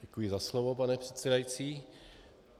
Děkuji za slovo pane předsedající.